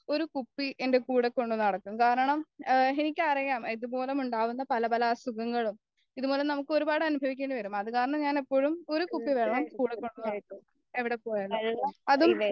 ഒരു കുപ്പി എന്റെ കൂടെകൊണ്ടു നടക്കും കാരണം എ എനിക്കറിയാം ഇതുമൂലം ഉണ്ടാകുന്ന പല പല അസുഖങ്ങളും ഇത് മൂലം നമ്മൾക് ഒരുപാട് അനുഭവിക്കേണ്ടിവരും അതുകാരണം ഞാൻ എപ്പോഴും ഒരു കുപ്പി വെള്ളം കൂടെ കൊണ്ടുനടക്കും എവിടെപ്പോയാലും അതും